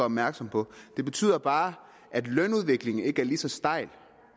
opmærksom på det betyder bare at lønudviklingen ikke er lige så stejl